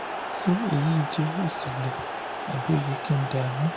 ṣé èyí kàn jẹ́ ìṣẹ̀lẹ̀ àbí ó yẹ kí n dààmú